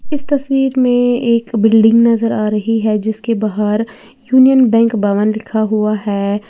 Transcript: इस तस्वीर में एक बिल्डिंग नजर आ रही है जिसके बाहर यूनियन बैंक भवन लिखा हुआ है।